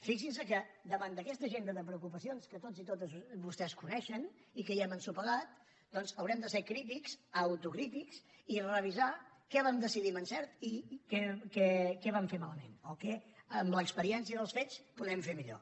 fixin se que davant d’aquesta agenda de preocupacions que tots i totes vostès coneixen i que hi hem ensopegat doncs haurem de ser crítics autocrítics i revisar què vam decidir amb encert i què vam fer malament o què amb l’experiència dels fets podem fer millor